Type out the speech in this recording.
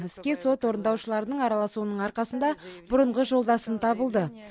іске сот орындаушыларының араласуының арқасында бұрынғы жолдасым табылды